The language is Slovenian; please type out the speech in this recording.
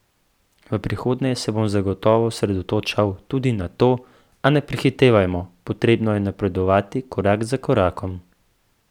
V prihodnje se bom zagotovo osredotočal tudi na to, a ne prehitevajmo, potrebno je napredovati korak za korakom.